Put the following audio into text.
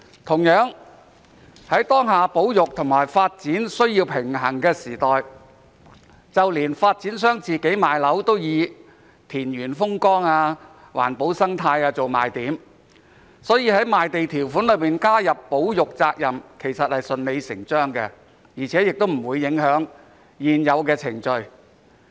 同樣地，在當下保育和發展需要平衡的時代，連發展商賣樓都以田園風光、環保生態做賣點，所以在賣地條款加入保育責任也是順理成章的，而且不會影響現有的程序。